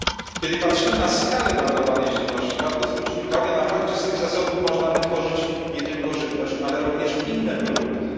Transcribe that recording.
Kiedy patrzymy na skalę marnowanej żywności, warto zwrócić uwagę na fakt, że z tych zasobów można wytworzyć nie tylko żywność, ale i inne produkty.